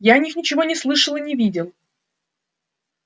я о них ничего не слышал и не видел